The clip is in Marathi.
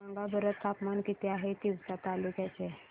सांगा बरं तापमान किती आहे तिवसा तालुक्या चे